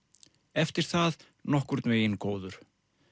eftir það nokkurn veginn góður